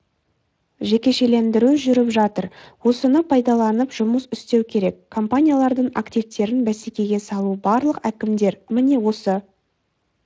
жекешелендіру жүріп жатыр осыны пайдаланып жұмыс істеу керек компаниялардың активтерін бәсекеге салу барлық әкімдер міне осы